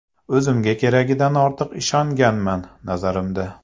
O‘zimga keragidan ortiq ishonganman, nazarimda”.